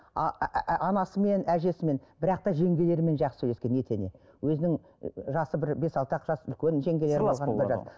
анасымен әжесімен бірақ та жеңгелерімен жақсы сөйлескен етене өзінің жасы бір бес алты ақ жас үлкен жеңгелері